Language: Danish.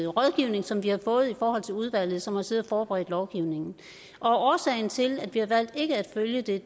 rådgivning som vi har fået af udvalget som har siddet og forberedt lovgivningen årsagen til at vi har valgt ikke at følge det